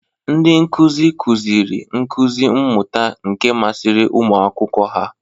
Ndị nkuzi, kụziri nkuzi mmuta nke masịrị ụmụ akwụkwọ ha.